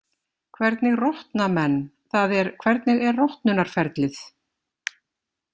Hvernig rotna menn, það er hvernig er rotnunarferlið?